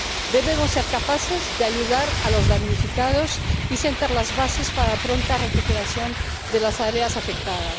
Debemos ser capaces de ayudar a los damnificados y sentar las bases para la pronta recuperación de las áreas afectadas.